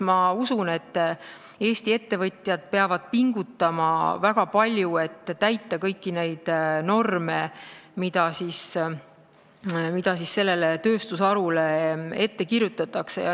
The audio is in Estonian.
Ma usun, et Eesti ettevõtjad peavad väga palju pingutama, et täita kõiki norme, mida sellele tööstusharule ette kirjutatakse.